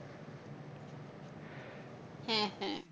হ্যাঁ হ্যাঁ।